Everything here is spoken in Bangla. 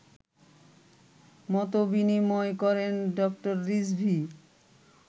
মতবিনিময় করেন ড. রিজভী